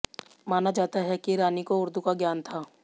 माना जाता है कि रानी को उर्दू का ज्ञान था